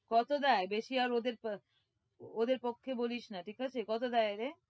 কত দেয়? বেশি আর ওদের ওদের পক্ষে বলিস না, ঠিক আছে, কত দেয় রে?